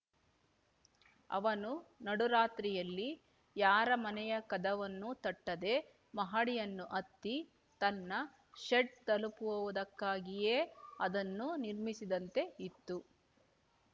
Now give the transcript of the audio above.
ಅವನು ನಡುರಾತ್ರಿಯಲ್ಲಿ ಯಾರ ಮನೆಯ ಕದವನ್ನೂ ತಟ್ಟದೆ ಮಹಡಿಯನ್ನು ಹತ್ತಿ ತನ್ನ ಷೆಡ್ ತಲುಪುವುದಕ್ಕಾಗಿಯೇ ಅದನ್ನು ನಿರ್‌ಮಿಸಿದಂತೆ ಇತ್ತು